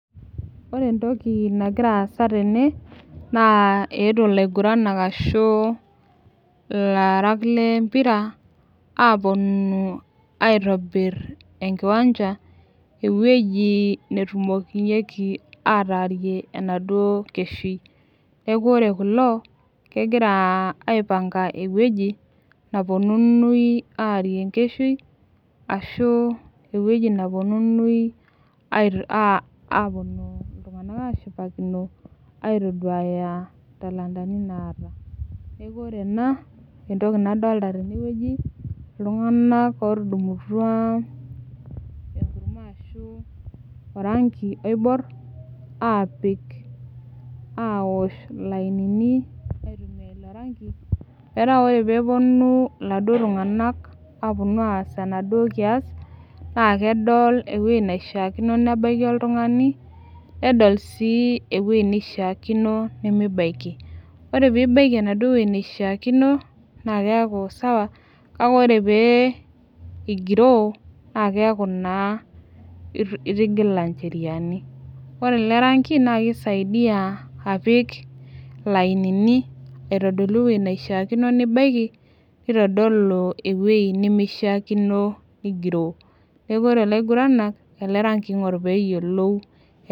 Ore entoki nagira aasa tene naa eetuo ilaiguranak ashu ilaarak lempira aponu aitobirr enkiwanja ewueji netumokinyieki ataarie enaduo keshui neeku ore kulo kegira aipanga ewueji naponunui aarie enkeshui ashu ewueji naponunui ait uh aponu iltung'anak ashipakino aitoduaya intalantani naata neku ore ena entoki nadolta tenewueji iltung'anak otudumutua enkurma ashu orangi oiborr aapik awosho ilainini aitumia ilo rangi metaa ore peeponu iladuo tung'anak aponu aas enaduo kias naa kedol ewueji naishiakino nebaiki oltung'ani nedol sii ewueji neishiakino nemibaiki ore pibaiki enaduo wueji neishiakino naa keeku sawa kake ore pee igiroo naa keeku naa itigila incheriani ore ele rangi naa kisaidia apik ilainini aitodolu ewueji naishiakino nibaiki nitodolu ewuei nemeishiakino nigiroo neku ore ilaiguranak ele rangi eing'orr peyiolou.